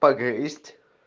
погрысть